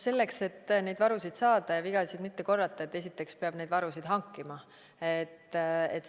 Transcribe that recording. Selleks, et neid varusid saada ja vigasid mitte korrata, peab esiteks neid varusid hankima.